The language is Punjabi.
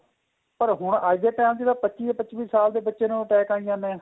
ਪਰ ਹੁਣ ਅੱਜ time ਚ ਪੱਚੀ ਪੱਚੀ ਸਾਲ ਬੱਚੇ ਨੂੰ attack ਆਈ ਜਾਂਦੇ ਏ